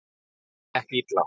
Það gekk illa.